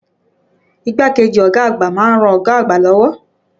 Igbákejì ọ̀gá àgbà ma ń ran ọ̀gá àgbà lọ́wọ́.